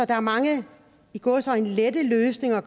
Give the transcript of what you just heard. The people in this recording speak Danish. der er mange i gåseøjne lette løsninger